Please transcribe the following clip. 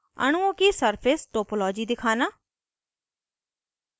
अणुओं की surface topology दिखाना